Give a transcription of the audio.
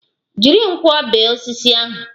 Jiri nkwọ bee osisi ahụ!